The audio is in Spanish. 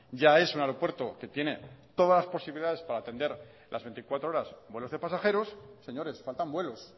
ya es un aeropuerto que tiene todas las posibilidades para atender las veinticuatro horas vuelos de pasajeros señores faltan vuelos